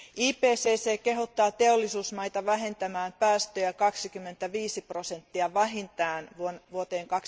IPCC kehottaa teollisuusmaita vähentämään päästöjä 25 prosenttia vähintään vuoteen